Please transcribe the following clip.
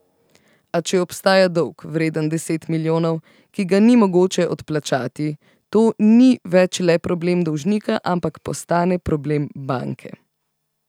A če obstaja dolg, vreden deset milijonov, ki ga ni mogoče odplačati, to ni več le problem dolžnika, ampak postane problem banke.